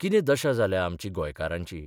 किंते दशा जाल्या आमची गोंयकारांची?